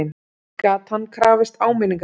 Gat hann krafist áminningar?